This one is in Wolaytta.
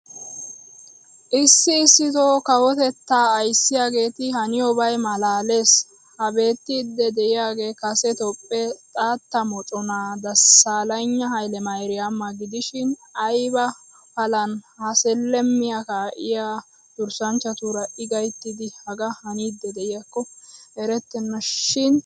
Issi issitoo kawotetta ayssiyaageeti haniyobay maalalees. Ha beettidi diyaage kase Toophphee xaatta moccona Dasalegna Hailemariyama gidishin aybba palan ha 'selemmiya' kaa'iya durssanchchatuura I gayttidi hagaa haaniid diyakko erettena shin hagee kawushsha.